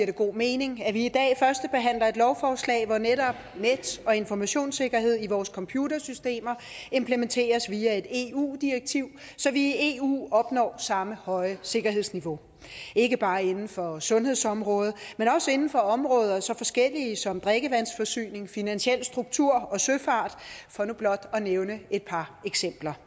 det god mening at vi i dag førstebehandler et lovforslag hvor netop net og informationssikkerhed i vores computersystemer implementeres via et eu direktiv så vi i eu opnår samme høje sikkerhedsniveau ikke bare inden for sundhedsområdet men også inden for områder så forskellige som drikkevandsforsyning finansiel struktur og søfart for nu blot at nævne et par eksempler